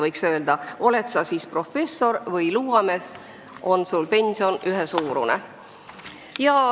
Võiks öelda, et oled sa siis professor või luuamees, pension on ühesuurune.